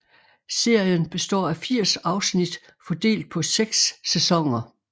Serien består af 80 afsnit fordelt på seks sæsoner